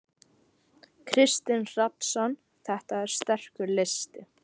Kristinn Hrafnsson: Þetta er sterkur listi?